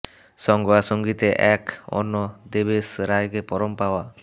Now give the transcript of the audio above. সঙ্গ আর সঙ্গীতে এক অন্য দেবেশ রায়কে পরম পাওয়া